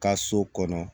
Ka so kɔnɔ